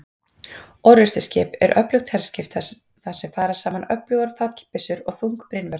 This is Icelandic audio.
orrustuskip er öflugt herskip þar sem fara saman öflugar fallbyssur og þung brynvörn